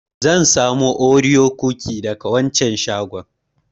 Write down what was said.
Zan samo Oreo cookie daga waccan shagon.